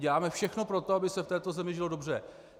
Děláme všechno pro to, aby se v této zemi žilo dobře.